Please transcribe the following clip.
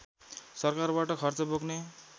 सरकारबाट खर्च बोक्ने